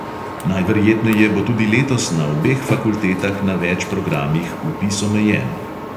Najverjetneje bo tudi letos na obeh fakultetah na več programih vpis omejen.